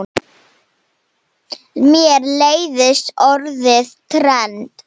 Mér leiðist orðið trend.